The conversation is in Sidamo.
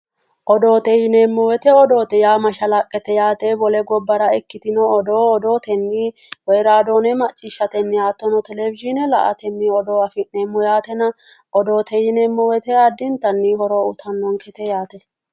odoote yineemmowoyite odoote yaa mashalaqqete yaate wole gobbara ikkitino odoo odootenni woyi raadoone macciishshatenni hattono televishiine la''atenni odoo afi'neemmo yaate odoote yineemmowoyite loeontanni horo uyitannonkete yaate.